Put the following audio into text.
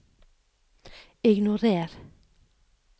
ignorer